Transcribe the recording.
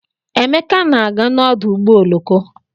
Emeka na-aga n'ọdụ ụgbọ oloko.